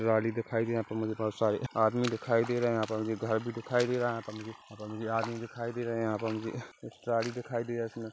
गाड़ी दिखाई दी यहाँ पे मुझे बहोत सारे आदमी दिखाई दे रहे है यहाँ पर मुझे घर भी दिखाई दे रहा है यहाँ पर मुझे आदमी दिखाई दे रहे है यहाँ पर मुझे एक ट्रौली दिखाई दे रही है इसमें --